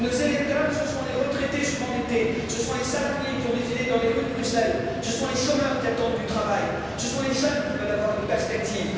et nos électeurs, ce sont les retraités surendettés, ce sont les salariés qui ont défilé dans les rues de Bruxelles, ce sont les chômeurs qui attendent du travail, ce sont les jeunes qui veulent avoir une perspective.